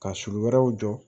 Ka sulu wɛrɛw jɔ